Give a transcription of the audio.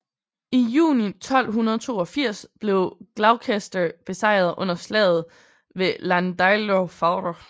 I juni 1282 blev Gloucester besejret under slaget ved Llandeilo Fawr